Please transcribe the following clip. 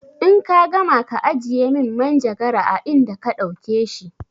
In ka gama ka ajiye min manjagara a inda ka ɗauke shi!